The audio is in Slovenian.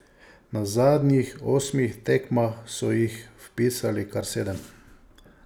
Na zadnjih osmih tekmah so jih vpisali kar sedem.